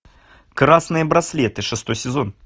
красные браслеты шестой сезон